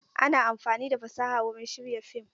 Ana amfani da fasaha wurin shirya fim.